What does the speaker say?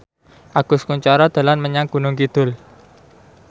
Agus Kuncoro dolan menyang Gunung Kidul